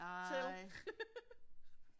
Nej